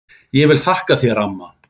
Ég vil þakka þér amma.